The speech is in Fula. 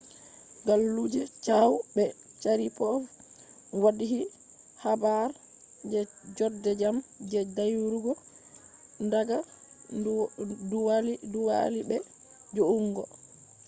galluje chiao be sharipov waddhi habar je jode jam je dayugo daga du wali be ju’ungo